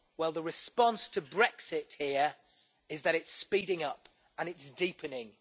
Well, the response to Brexit here is that it's speeding up and it's deepening.